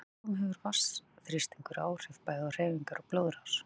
Í setlaugum hefur vatnsþrýstingur áhrif bæði á hreyfingar og blóðrás.